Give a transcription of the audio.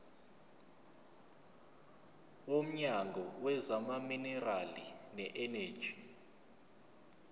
womnyango wezamaminerali neeneji